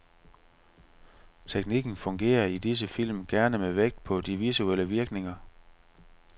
Teknikken fungerer i disse film, gerne med vægt på de visuelle virkninger.